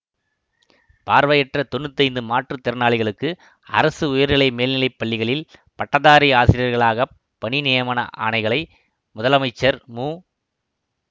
பார்வையற்ற தொன்னூத்தி ஐந்து மாற்று திறனாளிகளுக்கு அரசு உயர்நிலை மேல்நிலைப் பள்ளிகளில் பட்டதாரி ஆசிரியர்களாக பணி நியமன ஆணைகளை முதலமைச்சர் மு